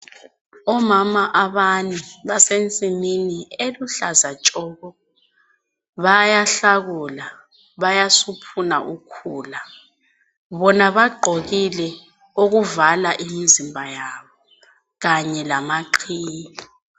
Omama abane basensimini eluhlaza tshoko, bayahlakula, bayasuphuna ukhula. Bona bagqokile okuvala imizimba yabo kanye lamaqhiye.